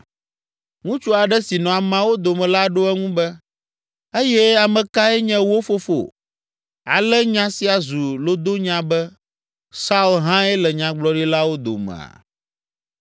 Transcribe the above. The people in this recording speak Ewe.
Ŋutsu aɖe si nɔ ameawo dome la ɖo eŋu be, “Eye ame kae nye wo fofo?” Ale nya sia zu lodonya be, “Saul hãe le nyagblɔɖilawo domea?”